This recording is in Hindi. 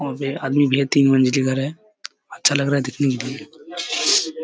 वहाँ पे आदमी भी है तीन मंजिला घर है। अच्छा लग रहा है देखने के लिए।